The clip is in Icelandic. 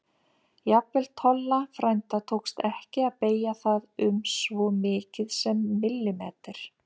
Jafnvel Tolla frænda tókst ekki að beygja það um svo mikið sem millimeter.